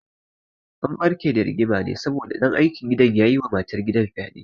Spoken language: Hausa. An ɓarke da rigima ne saboda ɗan aikin gidan ya yi wa matar gidan fyaɗe